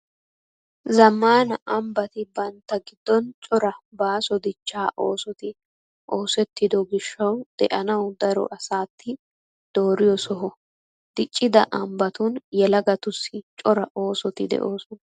Zammaana ambbati bantta giddon cora baaso dichchaa oosoti osettido gishshawu de'anawu daro asati dooriyo soho. Diccida ambbatun yelagatussi cora oosoti de'oosona.